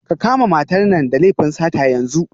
Ka kama matar nan da laifin sata yanzu